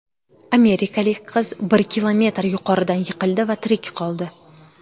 Amerikalik qiz bir kilometr yuqoridan yiqildi va tirik qoldi.